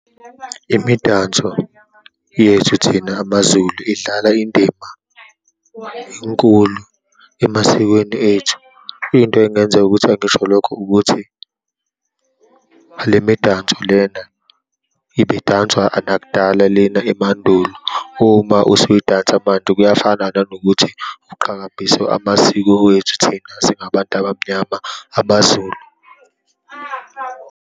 Imidanso yethu thina amaZulu idlala indima enkulu emasikweni ethu. Into engenza ukuthi angisho lokho ukuthi le midanso lena ibidanswa nakudala lena emandulo. Uma usuyidansa manje kuyafana nanokuthi uqhakambisa amasiko wethu, thina singabantu abamnyama, abaZulu.